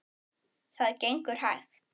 Það gengur hægt.